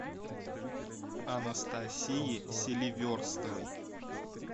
анастасии селиверстовой